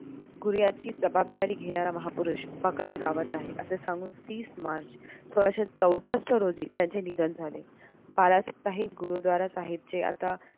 गुरुयाची जबाबदारी घेणारा महापुरुष बकाले गावात आहे असे सांगून तीस मार्च सोळाशे चौसष्ट रोजी त्यांचे निधन झाले बाळासाहेब गुरुद्वारा साहेबचे आता